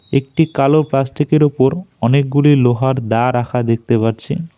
একটি কালো প্লাস্টিক -এর ওপর অনেকগুলি লোহার দা রাখা দেখতে পারছি।